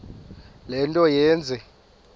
le nto yenze